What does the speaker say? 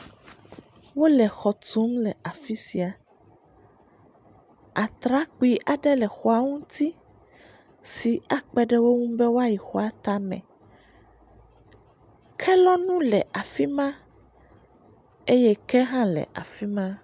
Wole xɔ tum le afi sia. Atrakpui aɖe le xɔa ŋuti si akpe ɖe wo ŋu be woayi xɔa tame. Kelɔnu le afi ma eye ke hã le afi ma.